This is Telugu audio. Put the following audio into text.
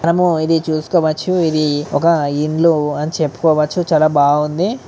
అమ్మో ఇది చూసుకోవచ్చు ఇది ఒక ఇండ్లు అని చెప్పుకోవచ్చు చాలా బాగుంది.